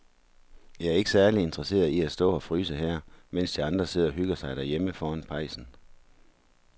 Jeg er ikke særlig interesseret i at stå og fryse her, mens de andre sidder og hygger sig derhjemme foran pejsen.